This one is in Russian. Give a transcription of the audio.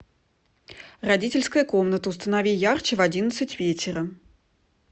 родительская комната установи ярче в одиннадцать вечера